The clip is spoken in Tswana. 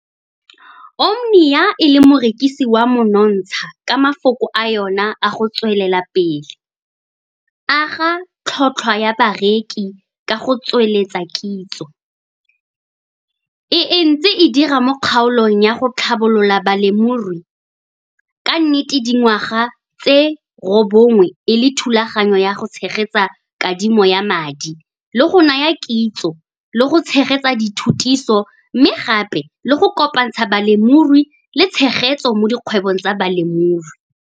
Omnia e le morekisi wa monontsha ka mafoko a yona a go tswelela pele. Aga tlhotlhwa ya bareki ka go tsweletsa kitso, e ntse e dira mo kgaolong ya go tlhabolola balemirui, ka nnete dingwaga tse robongwe e le thulaganyo ya go tshegetsa kadimo ya madi le go naya kitso le go tshegetsa dithutiso mme gape le go kopantsha balemirui le tshegetso mo dikgwebong tsa bolemirui.